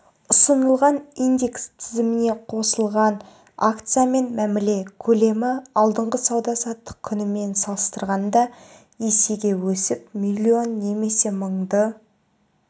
ұсынылған индекс тізіміне қосылған акциямен мәміле көлемі алдыңғы сауда-саттық күнімен салыстырғанда есеге өсіп млн немесе мыңды